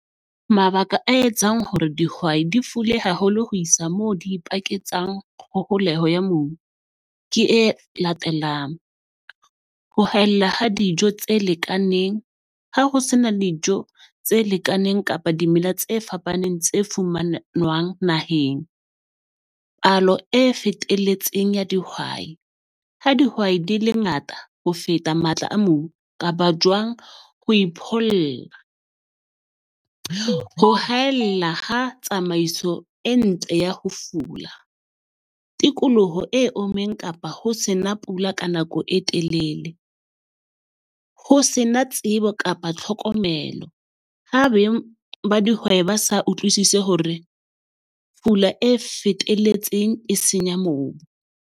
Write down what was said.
Mabaka a etsang hore dihwai di fule haholo ho isa moo di ipaketsang kgoholeho ya mobu ke e latelang, ho haella ha dijo tse lekaneng ha ho se na dijo tse lekaneng kapa dimela tse fapaneng tse fumanwang naheng. Palo e fetelletseng ya dihwai, ha dihwai di le ngata ho feta matla a mobu kapa jwang. ho haella ha tsamaiso e ntle ya ho fula. Tikoloho e ommeng kapa ho se na pula ka nako e telele, ho se na tsebo kapa tlhokomelo, ha ba dihwai ba sa utlwisise hore pula e fetelletseng, e senya mobu.